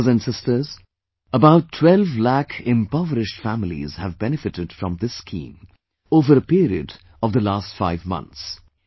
Brothers and Sisters, about 12 lakhimpoverished families have benefitted from this scheme over a period of last five months